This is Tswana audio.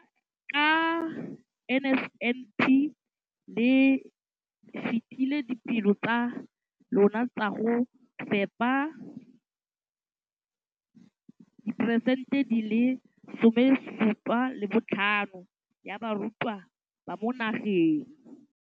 Ka NSNP le fetile dipeelo tsa lona tsa go fepa masome a supa le botlhano a diperesente ya barutwana ba mo nageng.